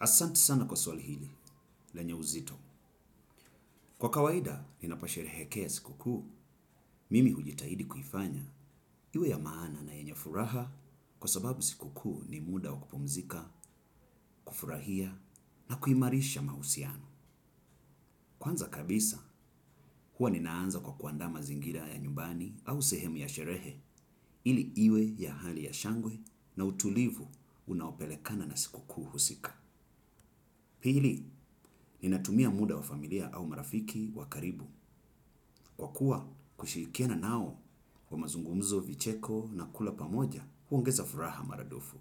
Asanti sana kwa swali hili, lenye uzito. Kwa kawaida, ninapobsherehekea sikukuu, mimi hujitahidi kuifanya iwe ya maana na yenye furaha kwa sababu sikukuu ni muda wa kupumzika, kufurahia, na kuimarisha mahusiano. Kwanza kabisa, huwa ninaanza kwa kuandaa mazingira ya nyumbani au sehemu ya sherehe ili iwe ya hali ya shangwe na utulivu unaopelekana na sikukuu husika. Pili, ninatumia muda wa familia au marafiki wa karibu kwa kuwa kushirikiana nao kwa mazungumzo, vicheko na kula pamoja huongeza furaha mara dufu.